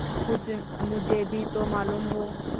कुछ मुझे भी तो मालूम हो